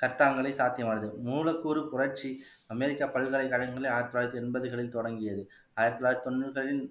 சட்டங்களை சாத்தியமானது மூலக்கூறு புரட்சி அமெரிக்கா பல்கலைக்கழகங்களிலே ஆயிரத்தி தொள்ளாயிரத்தி எண்பதுகளில் தொடங்கியது ஆயிரத்து தொள்ளாயிரத்து தொண்ணூறுகளில்